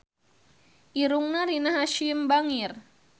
Irungna Rina Hasyim bangir